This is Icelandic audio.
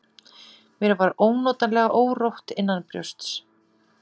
Mér var ónotalega órótt innanbrjósts.